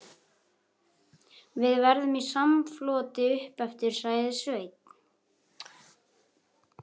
Við verðum í samfloti uppeftir, sagði Sveinn.